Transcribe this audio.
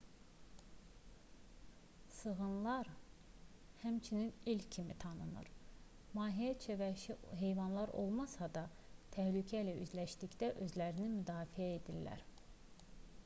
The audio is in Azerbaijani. sığınlar həmçinin elk kimi tanınır mahiyyətcə vəhşi heyvanlar olmasa da təhlükə ilə üzləşdikdə özlərini müdafiə edirlər